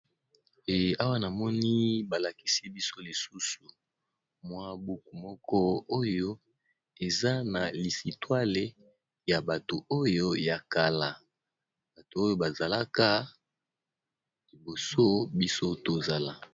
Eh awa namoni ba lakisi biso lisusu mwa buku moko oyo eza na lisitwale ya bato oyo ya kala, bato oyo ba zalaka liboso biso tozala.